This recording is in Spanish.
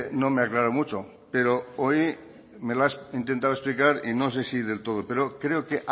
no me aclaro mucho pero hoy me la has intentado explicar y no sé si del todo pero creo que